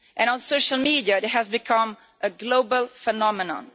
On social media it has become a global phenomenon.